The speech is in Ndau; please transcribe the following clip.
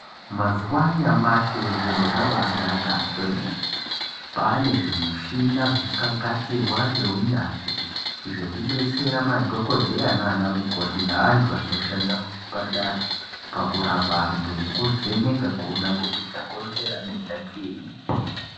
Mazuva anyamashi zviro zvabanaka kwemene kwaane zvimichina zvakagadzirwa neunyanzvi zvekubetsera madhokodheya nanamukoti nevantu vanoshanda muzvibhedhlera pakurapa vantu nekuveneka kuti chakonzera denda chiinyi .